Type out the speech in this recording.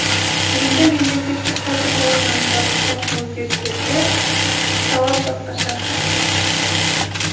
енді мемлекеттік сатып алу заңындағы соңғы өзгерістерде талап басқаша